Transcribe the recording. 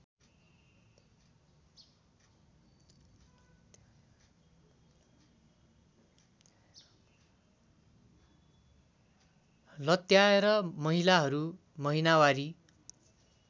लत्याएर महिलाहरू महिनावारी